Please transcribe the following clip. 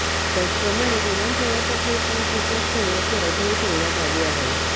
त्याचप्रमाणे विमान प्रवासात हे फोन स्वीच्ड ऑफ ठेवण्याची अटही ठेवण्यात आली आहे